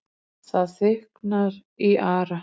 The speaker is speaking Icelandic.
Það þykknar í Ara,